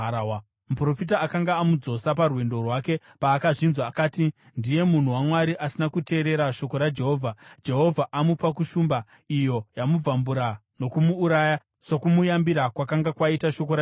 Muprofita akanga amudzosa parwendo rwake paakazvinzwa, akati, “Ndiye munhu waMwari asina kuteerera shoko raJehovha. Jehovha amupa kushumba, iyo yamubvambura nokumuuraya, sokumuyambira kwakanga kwaita shoko raJehovha.”